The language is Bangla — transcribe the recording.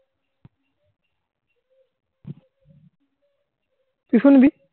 তুই শুনবি?